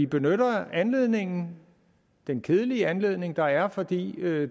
benytter anledningen den kedelige anledning der er fordi